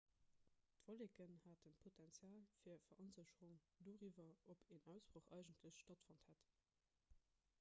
d'wolleken haten d'potenzial fir veronsécherung doriwwer ob en ausbroch eigentlech stattfonnt hätt